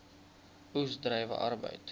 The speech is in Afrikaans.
oes druiwe arbeid